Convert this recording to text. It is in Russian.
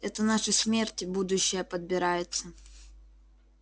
это наша смерть будущая подбирается